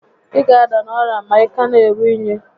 Ị ga ada n'orịa ọzọ ma ị ka n'eru únyí